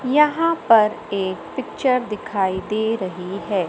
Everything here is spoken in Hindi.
यहां पर एक पिक्चर दिखाई दे रही है।